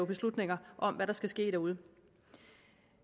beslutninger om hvad der skal ske derude